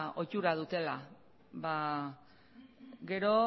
ohitura dutela gero